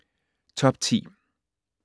Top 10